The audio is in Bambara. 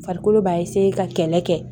Farikolo b'a ka kɛlɛ kɛ